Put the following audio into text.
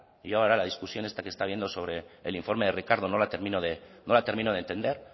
y ahora la discusión esta que está habiendo sobre el informe de ricardo no la termino de entender